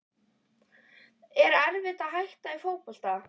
Er erfitt að hætta í fótbolta?